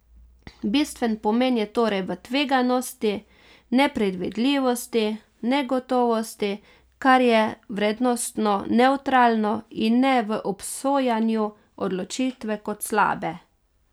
Bistven pomen je torej v tveganosti, nepredvidljivosti, negotovosti, kar je vrednostno nevtralno, in ne v obsojanju odločitve kot slabe.